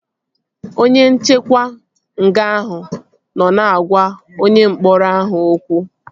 Onye nchekwa nga ahụ nọ na-agwa onye mkpọrọ ahụ okwu